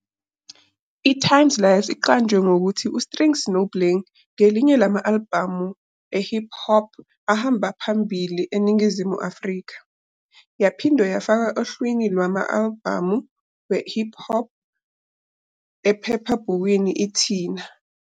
"ITimesLIVE" iqanjwe ngokuthi uStrings "noBling" ngelinye lama-albhamu e-hip hop ahamba phambili eNingizimu Afrika, yaphinde yafakwa ohlwini lwama-albhamu e-hip hop ephephabhukwini "iTina".